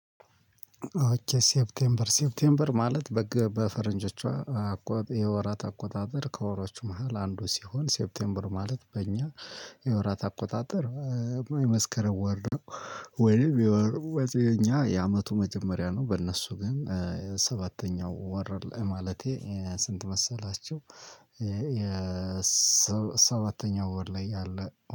ኦኬ ሴፕቴምበር ሴፕቴምበር ማለት በፈረንጆቿ የወራት አቆጣጠር ከወሮቹ መሃል አንዱ ሲሆን ሴፕቴምበር ማለት በእኛ የወራት አቆጣጠር የመስከረም ወር ነው ወይንም የኛ የአመቱ መጀመሪያ ነው። በእነሱ ግን ሰባተኛው ወር ማለቴ ስንት መሰላችሁ? ሰባተኛው ወር ላይ ያለ